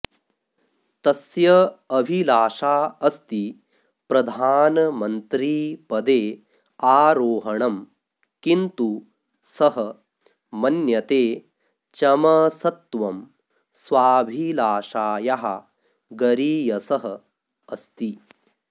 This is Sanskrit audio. तस्य अभिलाषा अस्ति प्रधानमन्त्रीपदे आरोहणं किन्तु सः मन्यते चमसत्वं स्वाभिलाषायाः गरीयसः अस्ति